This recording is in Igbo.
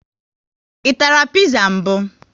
I tara piza mbụ?